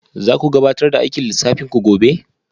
Za ku gabatar da aikin lissafin ku gobe?